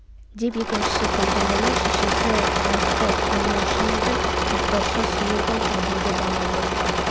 деп екіншісі күлді мұның шешесі жас қой білмеуші ме едің ізбайша сұлу ғой кәдімгі бала боржық